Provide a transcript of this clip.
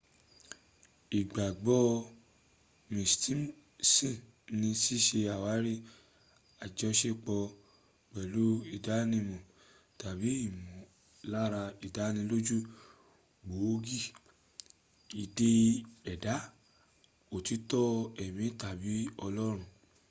ìgbàgbọ́ mysticism ní síse àwárí ajọsepọ̀ pẹ̀lú ìdánimọ̀ tàbí ìmọ̀lára ìdánilójú gbòógì ìdẹ́ẹ̀dá òtítọ́ ẹ̀mí tàbi ọlọ́run